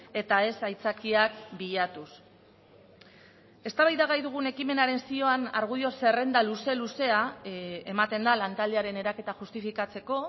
eta ez aitzakiak bilatuz eztabaidagai dugun ekimenaren zioan argudio zerrenda luze luzea ematen da lantaldearen eraketa justifikatzeko